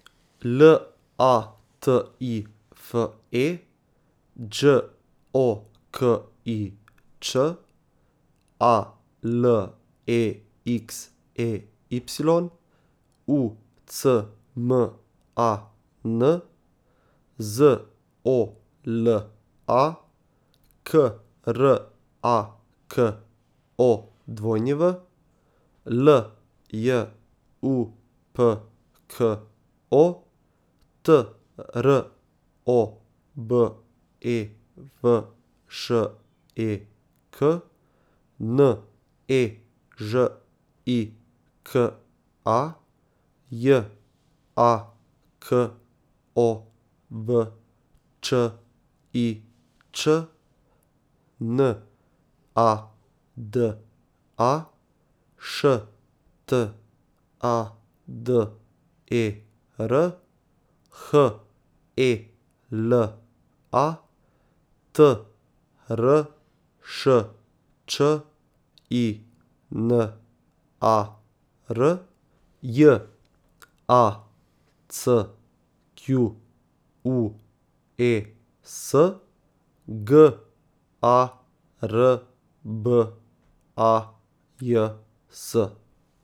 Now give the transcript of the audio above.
L A T I F E, Đ O K I Ć; A L E X E Y, U C M A N; Z O L A, K R A K O W; L J U P K O, T R O B E V Š E K; N E Ž I K A, J A K O V Č I Ć; N A D A, Š T A D E R; H E L A, T R Š Č I N A R; J A C Q U E S, G A R B A J S.